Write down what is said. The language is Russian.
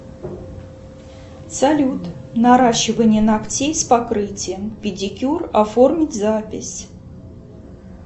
салют наращивание ногтей с покрытием педикюр оформить запись